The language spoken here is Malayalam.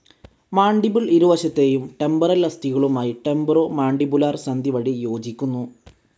മാൻഡിബിൾ ഇരുവശത്തെയും ടെമ്പറൽ അസ്ഥികളുമായി ടെമ്പറോ മാൻഡിബുലർ സന്ധി വഴി യോജിക്കുന്നു.